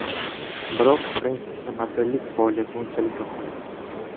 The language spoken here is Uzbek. Biroq Frensisga modellik faoliyati unchalik ham yoqmaydi.